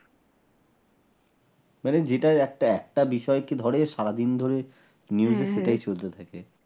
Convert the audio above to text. মানে যেটা একটা একটা বিষয়কে ধরে সারাদিন ধরে হ্যাঁ হ্যাঁ news সেটাই চলতে থাকে।